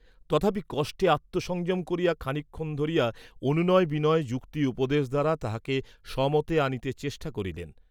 তথাপি কষ্টে আত্মসংযম করিয়া খানিক ক্ষণ ধরিয়া অনুনয় বিনয় যুক্তি উপদেশ দ্বারা তাহাকে স্বমতে আনিতে চেষ্টা করিলেন।